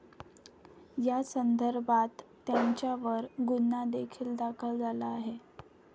यासंदर्भात त्यांच्यावर गुन्हादेखील दाखल झाला आहे.